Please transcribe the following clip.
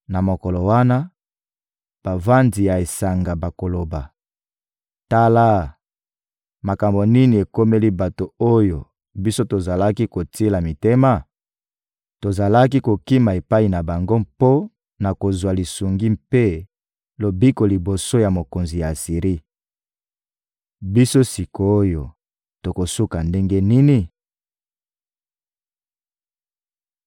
Na mokolo wana, bavandi ya esanga bakoloba: ‹Tala, makambo nini ekomeli bato oyo biso tozalaki kotiela mitema? Tozalaki kokima epai na bango mpo na kozwa lisungi mpe lobiko liboso ya mokonzi ya Asiri. Biso sik’oyo tokosuka ndenge nini?›»